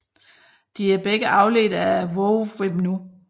De er begge afledte af WoWEmu